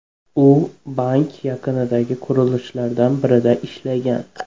U bank yaqinidagi qurilishlardan birida ishlagan.